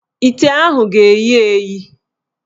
Ite ahụ ga-eyi eyi.